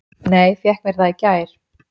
Nei, fékk mér það í gær.